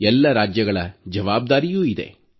ಎಲ್ಲ ರಾಜ್ಯಗಳ ಜವಾಬ್ದಾರಿಯೂ ಇದೆ